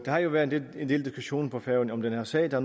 har jo været en del diskussion på færøerne om den her sag der